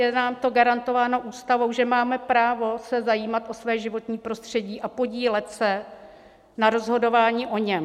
Je nám to garantováno ústavou, že máme právo se zajímat o své životní prostředí a podílet se na rozhodování o něm.